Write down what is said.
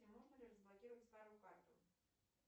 можно ли разблокировать старую карту